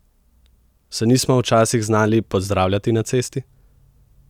Se nismo včasih znali pozdravljati na cesti?